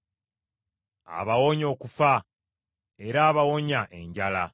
abawonya okufa, era abawonya enjala.